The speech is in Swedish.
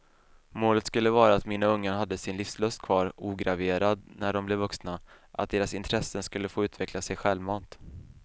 Målet skulle vara att mina ungar hade sin livslust kvar ograverad när dom blev vuxna, att deras intressen skulle få utveckla sig självmant.